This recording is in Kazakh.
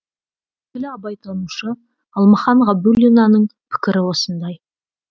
белгілі абайтанушы алмахан ғабдуллинаның пікірі осындай